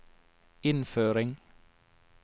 innføring